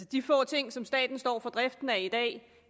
de få ting som staten står for driften af i dag